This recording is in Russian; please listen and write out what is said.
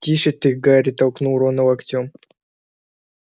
тише ты гарри толкнул рона локтём